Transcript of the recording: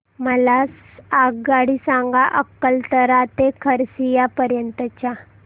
मला आगगाडी सांगा अकलतरा ते खरसिया पर्यंत च्या